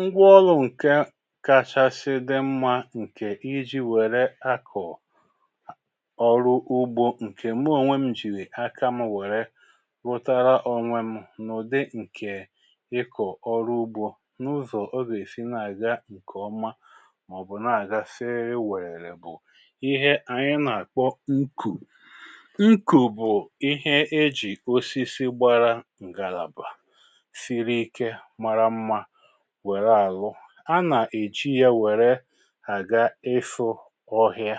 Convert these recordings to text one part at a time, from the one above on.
Ngwaọrụ ǹkè kachasị dị mmȧ ǹkè ijí wère akọ̀ ọrụ ugbȯ ǹkè mụ ònwe m jìrì aka m wère rụtara onwe m n’ụ̀dị ǹkè ịkọ̀ ọrụ ugbȯ n’ụzọ̀ ọ ga-èsi na-àgá ǹkè ọma màọ̀bụ̀ na-àga sịrịrị wèrerè bụ̀ ihe ànyị na-àkpọ nkù. Nkù bụ̀ ihe ejì osisi gbara ǹgàlàbà, siri ike, mara mma wèré àrụ. A nà-èji ya wère àga ịfụ̇ ọhịa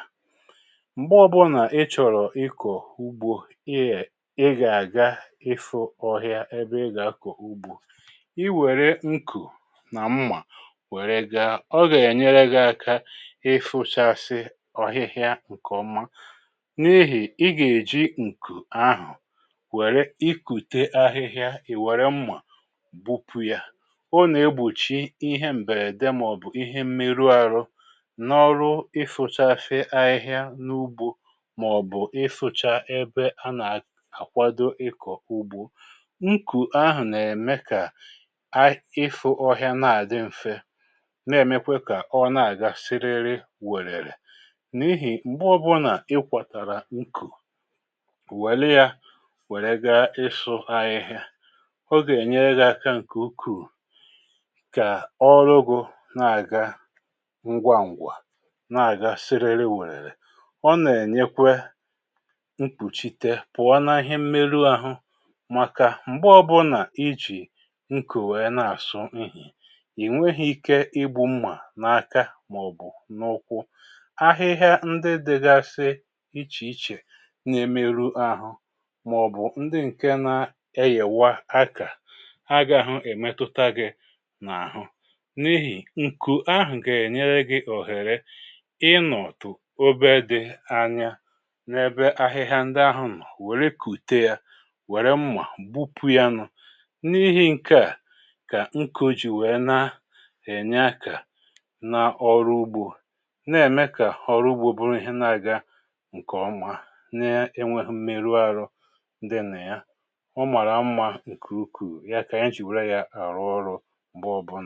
M̀gbe ọbụnà ị chọ̀rọ̀ ị kọ̀ọ̀ ugbȯ ị gà-àga ịfụ ọhịa ebe ị gà-akọ̀ ugbȯ, i wèré nkù nà mmà wère gaa, ọ gà-ènyere gị aka ịfụchasị ọhịhịa ǹkè ọma n’ihì ị gà-èji ǹkù ahụ̀ wère ikùte ahịhịa ì wère mmà gbupu ya. Ọ nà-egbòchi ihe m̀bèrède màọ̀bụ̀ ihe mmeru ahụ n’ọrụ ịfụchasị ahịhịa n’ugbȯ màọ̀bụ̀ ịfụcha ebe anà-àkwado ịkọ̀ ugbȯ. Nkù ahụ̀ nà-ème kà ịfụ ọhịa na-àdị m̀fé na-èmekwe kà ọ na-àga siriri wèrèrè. N’ihì m̀gbe ọbụ̀nà ịkwọ̀tàrà ńkù, wère ya wèrè gaa ịsụ ahịhịa, ọ gà-ènyere gị aka ǹkè ukuù kà ọrụ gụ na-àga ngwá ǹgwà, na-àga siriri wèrèlè. Ọ nà-ènyekwe nkpùchite pụ̀ọ na ihe mmerụ àhụ màkà m̀gbe ọbụnà nà ijì nkù wèe na-àsụ ihì, ìnweghi ike ịgbu mmà na-aka màọ̀bụ̀ n’ụkwụ. Ahịhịa ndị dịgasị ichè ichè na-emerụ ahụ màọ̀bụ̀ ndị ǹke nȧ-éyèwá ákà agaghụ emetụta gị n’àhụ n’ihì ǹkù ahụ̀ gà-ènyere gị òhère ịnọ̀tụ̀ obe dị anya n’ebe ahịhịa ndị ahụ nọ̀ wèrè kùte yȧ, wère mmà gbupu yanụ. N’ihi ǹke à kà nkù jì wèe na-ènye ákà na ọrụ úgbȯ, na-ème kà ọrụ ugbȯ bụrụ ihe na-aga ǹkè ọma na-enweghụ mmerụ àrụ dị nà ya. Ọ màrà mmȧ ǹkù ukuù. Ya kà ànyị jì wère ya àrụ ọrụ.